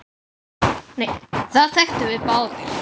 Það þekktum við báðir.